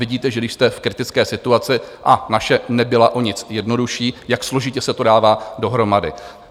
Vidíte, že když jste v kritické situaci, a naše nebyla o nic jednodušší, jak složitě se to dává dohromady.